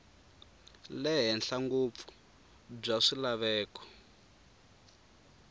le henhla ngopfu bya swilaveko